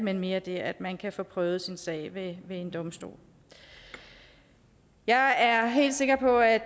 er mere det at man kan få prøvet sin sag ved en domstol jeg er helt sikker på at